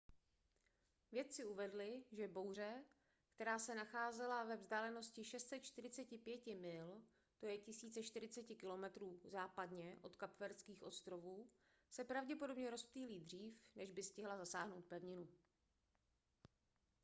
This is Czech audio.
vědci uvedli že bouře která se nacházela ve vzdálenosti 645 mil 1040 km západně od kapverdských ostrovů se pravděpodobně rozptýlí dřív než by stihla zasáhnout pevninu